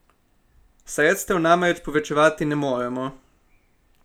Sredstev namreč povečevati ne moremo.